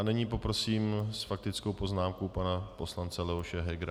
A nyní poprosím s faktickou poznámkou pana poslance Leoše Hegera.